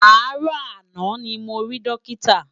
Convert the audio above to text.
Aárò àná ni mó ri Dókitá